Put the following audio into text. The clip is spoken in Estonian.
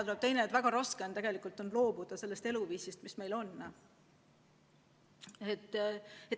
Teine probleem on, et väga raske on tegelikult loobuda sellest eluviisist, mis meil on.